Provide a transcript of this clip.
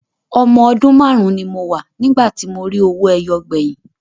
Ọmọ ọdún márùn-ún ni mo wà nígbà tí mo rí owó ẹyọ gbẹ̀yìn.